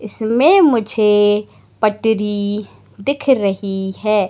इसमें मुझे पटरी दिख रही है।